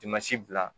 bila